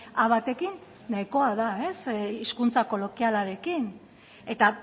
a batekin nahikoa da hizkuntza kolokialarekin eta